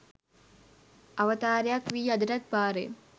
අවතාරයක් වී අදටත් පාරේ